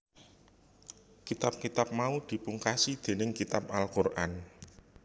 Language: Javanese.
Kitab kitab mau dipungkasi dénig Kitab Al Qur an